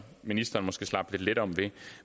ministeren måske slap lidt let om ved